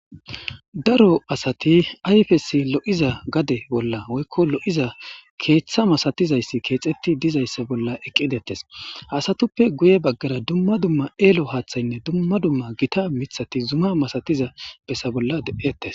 Daro asati ayfesi lo'iza gade bolla woykko lo'iza keeththa masatizayssi keexetti dizayssa bolla eqqidettes hasatuppe guye baggara dumma dumma eelo haaththaynne dumma dumma gita mithati zuma masatiza bessa bolla de'ettes.